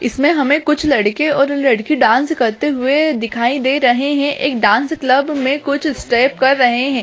इसमें हमें कुछ लड़के और लड़की डांस करते हुए दिखाई दे रहें हैं एक डांस क्लब में कुछ स्टेप कर रहें हैं।